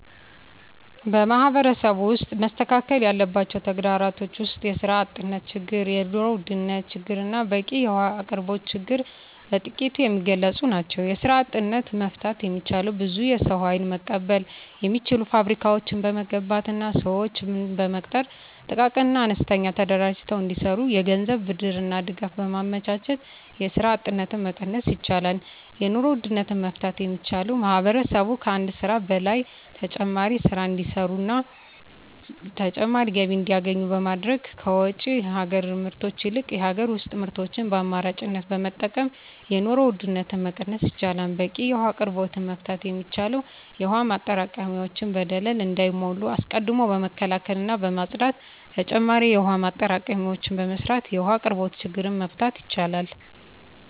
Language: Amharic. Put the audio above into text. በማህበረሰቡ ውስጥ መስተካከል ያለባቸው ተግዳሮቶች ውስጥ የስራ አጥነት ችግር የኑሮ ውድነት ችግርና በቂ የውሀ አቅርቦት ችግር በጥቂቱ የሚገለፁ ናቸው። የስራ አጥነትን መፍታት የሚቻለው ብዙ የሰው ሀይል መቀበል የሚችሉ ፋብሪካዎችን በመገንባትና ስዎችን በመቅጠር ጥቃቅንና አነስተኛ ተደራጅተው እንዲሰሩ የገንዘብ ብድርና ድጋፍ በማመቻቸት የስራ አጥነትን መቀነስ ይቻላል። የኑሮ ውድነትን መፍታት የሚቻለው ማህበረሰቡ ከአንድ ስራ በላይ ተጨማሪ ስራ እንዲሰሩና ተጨማሪ ገቢ እንዲያገኙ በማድረግ ከውጭ ሀገር ምርቶች ይልቅ የሀገር ውስጥ ምርቶችን በአማራጭነት በመጠቀም የኑሮ ውድነትን መቀነስ ይቻላል። በቂ የውሀ አቅርቦትን መፍታት የሚቻለው የውሀ ማጠራቀሚያዎች በደለል እንዳይሞሉ አስቀድሞ በመከላከልና በማፅዳት ተጨማሪ የውሀ ማጠራቀሚያዎችን በመስራት የውሀ አቅርቦትን ችግር መፍታት ይቻላል።